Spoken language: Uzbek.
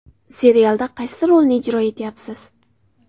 Serialda qaysi rolni ijro etayapsiz?